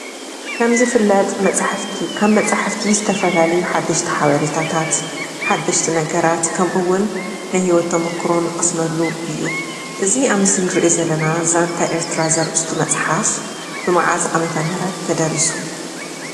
ከም ዝፍለጥ መፅሓፍቲ ካብ መፅሓፍቲ ዝተፈላለዩ ሓደሽቲ ሓበሬታትት፣ ሓደሽቲ ነገራት ከምኡ እውን ናይ ሂወት ተሞክሮ እንቀስመሉ እዩ። እዚ አብ ምስሊ እንሪኦ ዘለና ዛንታ ኤርትራ ዘርእስቱ መፅሓፍ መዓዝ ዓመተ ምህረት ተደሪሱ?